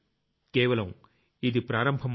కేవలం ఇది ప్రారంభం మాత్రమే